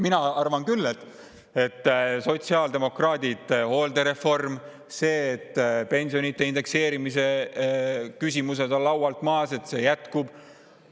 Mina arvan küll, et sotsiaaldemokraatide hooldereform ning ka see, et pensionide indekseerimise küsimused on laualt maas, et see indekseerimine jätkub.